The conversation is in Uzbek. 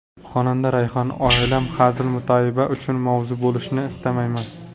Xonanda Rayhon: Oilam hazil-mutoyiba uchun mavzu bo‘lishini istamayman.